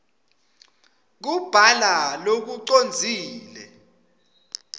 kubhala lokucondzile